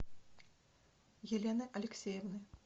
елены алексеевны